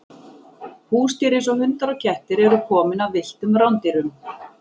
Húsdýr eins og hundar og kettir eru komin af villtum rándýrum.